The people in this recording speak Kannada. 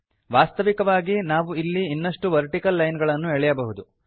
ವಾಸ್ತವಿಕವಾಗಿ ನಾವು ಇಲ್ಲಿ ಇನ್ನಷ್ಟು ವರ್ಟಿಕಲ್ ಲೈನ್ ಗಳನ್ನು ಎಳೆಯಬಹುದು